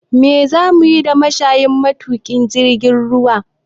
Me za mu yi da mashayin matuƙin jirgin ruwa?